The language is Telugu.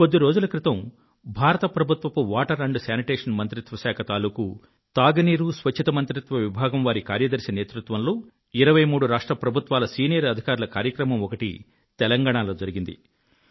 కొద్ది రోజుల క్రితం భారత ప్రభుత్వ జల పారిశుధ్య మంత్రిత్వ శాఖ తాలుకూ తాగు నీరు స్వచ్ఛత మంత్రిత్వ విభాగం వారి కార్యదర్శి నేతృత్వంలో 23 రాష్ట్ర ప్రభుత్వాల సీనియర్ అధికారుల కార్యక్రమం ఒకటి తెలంగాణలో జరిగింది